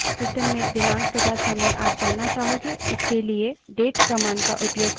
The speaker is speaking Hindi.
system में दिनांक तथा समय आप जानना चाहोगे इसके लिए date command का उपयोग करते हैं